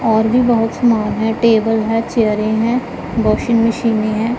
और भी बहोत समान है टेबल है चेयरे हैं वाशिंग मशीने है।